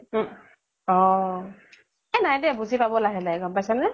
উম । অʼ । এ নাই দে বুজি পাব লাহে লাহে, গʼম পাইছা নে ?